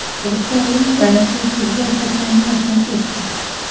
O‘zbekistonlik taniqli futbol hakami vafot etdi.